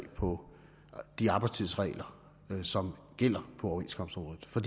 på de arbejdstidsregler som gælder på overenskomstområdet for